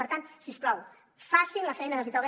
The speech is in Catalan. per tant si us plau facin la feina que els hi toca